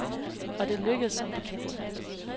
Og det lykkedes som bekendt.